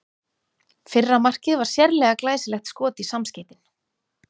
Fyrra markið var sérlega glæsilegt skot í samskeytin.